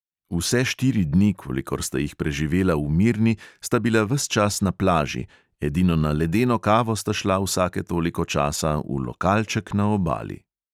Vse štiri dni, kolikor sta jih preživela v mirni, sta bila ves čas na plaži, edino na ledeno kavo sta šla vsake toliko časa v lokalček na obali.